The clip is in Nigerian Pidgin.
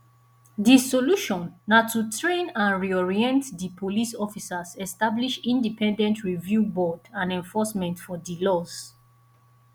di solution na to train and reorient di police officers establish independent review board and enforcement of di laws